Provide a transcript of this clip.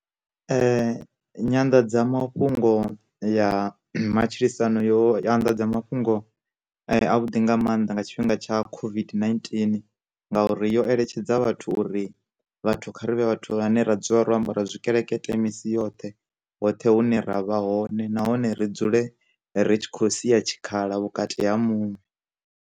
Nyanḓadzamafhungo ya matshilisano yo anḓadza mafhungo a vhuḓi nga maanḓa nga tshifhinga tsha COVID-19 ngauri yo eletshedza vhathu uri, vhathu kha rivhe vhathu vhane ra dzula ro ambara tshikelekete misi yoṱhe hoṱhe hune ra vha hone nahone ri dzule ri tshi khou sia tshikhala vhukati ha muṅwe.